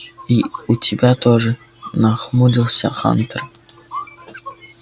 и у тебя тоже нахмурился хантер